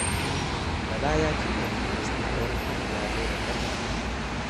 Bala ya cimma burinsa na auren Hajiya Laila 'yar Alhaji Gambo